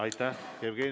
Aitäh!